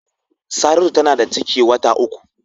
Saratu tana da ciki wata uku.